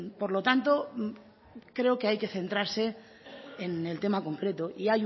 por lo tanto creo que hay que centrarse en el tema concreto y